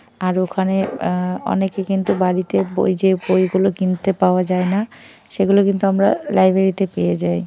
আর ওখানে আ - অনেকে কিন্তু বাড়িতে বই যে বইগুলো কিনতে পাওয়া যায় না সেগুলো কিন্তু আমরা লাইব্রেরী -তে পেয়ে যাই।